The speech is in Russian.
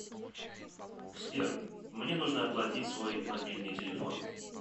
сбер мне нужно оплатить свой мобильный телефон